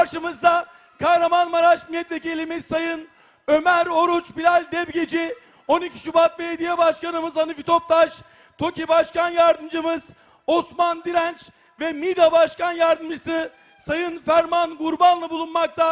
Qarşımızda Kahramanmaraş millətvəkilimiz Sayın Ömər Oruç Bilal Depgici, 12 Şübat Bələdiyyə Başqanımız Hanifi Toptaş, Toki Başqan Yardımmız Osman Dirənç və Mida Başqan Yardımçısı Sayın Fərman Qurbanlı bulunmaqta.